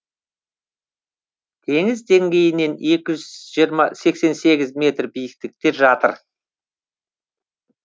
теңіз деңгейінен екі жүз сексен сегіз метр биіктікте жатыр